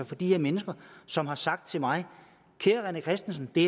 fra de her mennesker som har sagt til mig kære rené christensen det